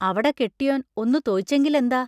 അവട കെട്ടിയോൻ ഒന്നു തൊയിച്ചെങ്കിലെന്താ?